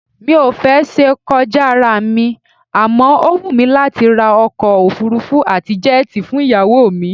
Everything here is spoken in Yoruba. Mi ò fẹ́ ṣe kọjá ará mi àmọ́ ó wù mí láti ra ọkọ òfuurufú àti jẹ́ẹ̀tì fún ìyàwó mi